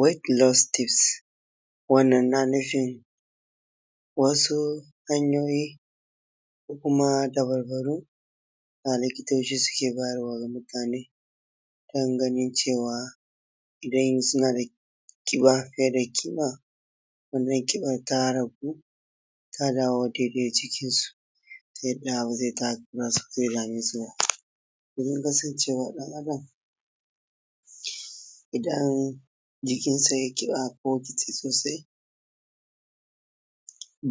Wejt bulod sitif, wannan na nufin wasu hanyoyi ko kuma dababbaru da likitoci suke bayarwa ga mutane dan ganin cewa idan suna da ƙiba fiye da ƙima, ƙinban ragu ta dawo daidai jikinsu ta yadda ba zai dame su ba. Domin kasancewa ɗan Adam idan jikinsa ye ƙiba ko kitse sosai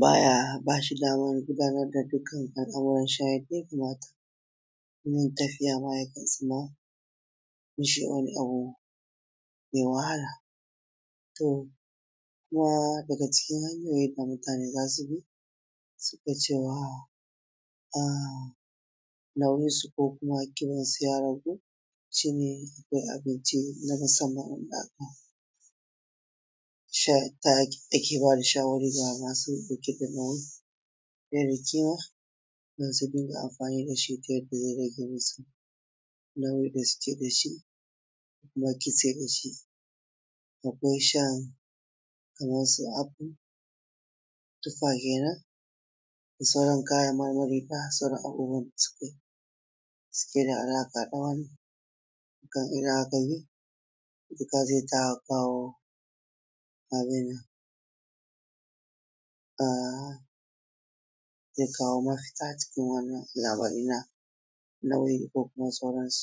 baya, bashi daman gudanar da dukkan al’amuran shi yadda ya kamata, wurin tafiyama ya kan sa ya ji wani abu mai wahala, to kuma daga cikin hanyoyin da mutane za su bi suga cewa a nauyinsu ko kuma ƙibansu ya ragu shi ne akwai abinci na musamman wanda take bayar da shawarwari ga masu ƙiban fiye da ƙima, su dunga amfani dashi ta yadda zai rage musu nauyin da suke dashi, ba kitse bace. Akwai shan kamar su aful ( tufa) kenen da sauran kayan marmari abubuwan da suke da alaƙa da wannan, kan iya zai ta kawo abun nan, aa zai kawo mafita cikin wannan lamarin nauyi ko kuma sauransu.s